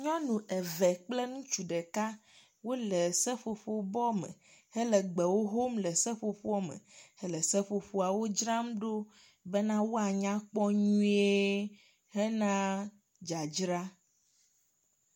nyɔnu eve kple ŋutsu ɖeka wóle seƒoƒo bɔ me hele gbewo hom le seƒoƒoa me hele seƒoƒoawo dzram ɖo bena woanyakpɔ nyuie hena dzadzra